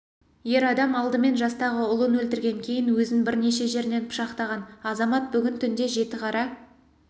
ер адам алдымен жастағы ұлын өлтірген кейін өзін бірнеше жерінен пышақтаған азамат бүгін түнде жетіқара